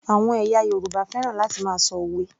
Àwọn ẹ̀yà Yorùbá fẹ́ràn láti máa ṣọ òwe